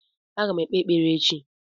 Aga m ekpe ekpere echi